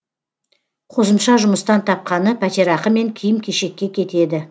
қосымша жұмыстан тапқаны пәтерақы мен киім кешекке кетеді